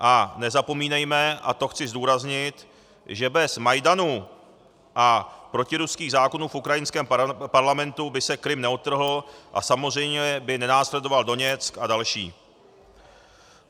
A nezapomínejme - a to chci zdůraznit - že bez Majdanu a protiruských zákonů v ukrajinském parlamentu by se Krym neodtrhl a samozřejmě by nenásledoval Doněck a další.